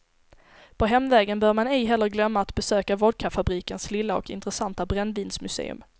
På hemvägen bör man ej heller glömma att besöka vodkafabrikens lilla och intressanta brännvinsmuseum.